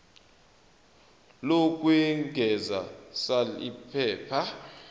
lokwengeza sal iphepha